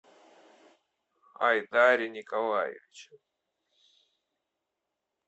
айдаре николаевиче